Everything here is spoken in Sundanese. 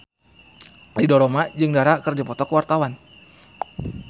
Ridho Roma jeung Dara keur dipoto ku wartawan